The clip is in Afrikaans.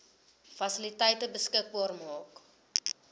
fasiliteite beskikbaar maak